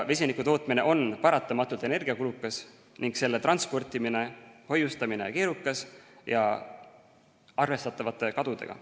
Vesiniku tootmine on paratamatult energiakulukas ning selle transportimine-hoiustamine keerukas ja arvestatavate kadudega.